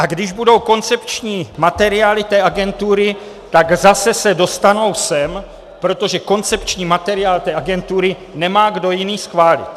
A když budou koncepční materiály té agentury, tak se zase dostanou sem, protože koncepční materiál té agentury nemá kdo jiný schválit.